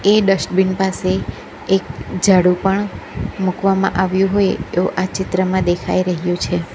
એ dustbin પાસે એક જાડુ પણ મૂકવામાં આવ્યું હોય એવું આ ચિત્રમાં દેખાઈ રહ્યું છે.